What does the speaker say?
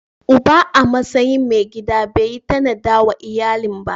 Uba a matsayin mai gida bai yi tanada wa iyalin ba.